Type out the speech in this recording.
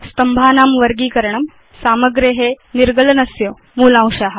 स्तम्भानां वर्गीकरणम् सामग्रे निर्गलनस्य मूलांशा